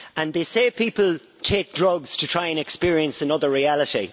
They say people take drugs to try and experience another reality.